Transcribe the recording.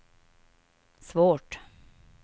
svårt